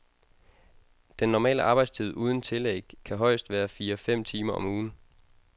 Den normale arbejdstid uden tillæg kan højest være fire fem timer om ugen.